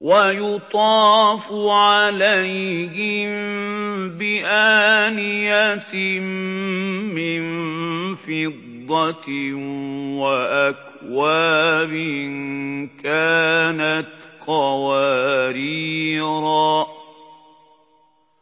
وَيُطَافُ عَلَيْهِم بِآنِيَةٍ مِّن فِضَّةٍ وَأَكْوَابٍ كَانَتْ قَوَارِيرَا